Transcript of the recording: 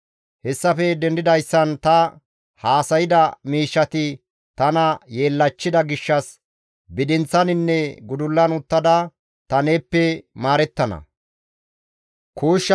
Hessafe dendidayssan ta haasayda miishshati tana yeellachchida gishshas bidinththaninne gudullan uttada ta neeppe maarettana.»